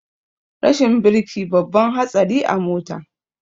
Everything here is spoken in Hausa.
Rashin birki babban hatsari a mota